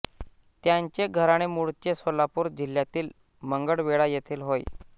त्यांचे घराणे मूळचे सोलापूर जिल्ह्यातील मंगळवेढा येथील होय